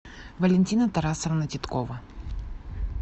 валентина тарасовна титкова